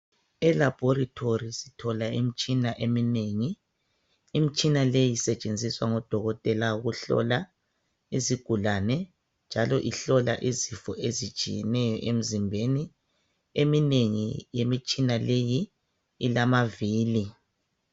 Elabhorithori sithola imtshina eminengi, imitshina leyo isetshenziswa ngodokotela ukuhlola izigulane njalo ihlola izifo ezitshiyeneyo emzimbeni. Eminengi imitshina leyi ilamavili.